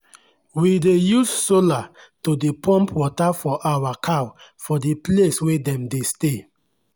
we dey use sola to dey pump water for our cow for the place wey dem dey stay.